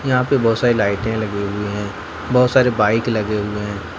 यहां पे बहुत सारी लाइटें लगी हुई है बहुत सारे बाइक लगे हुए हैं।